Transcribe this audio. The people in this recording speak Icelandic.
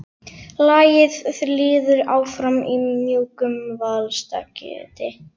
Lagið líður áfram í mjúkum valstakti.